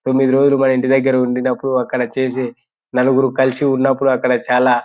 తొమిది రోజులు మాఇంటి దెగర ఉండినప్పుడు ఒకడు చేసి నలుగురు కలిసి ఉన్నపుడు అక్కడ చాలా --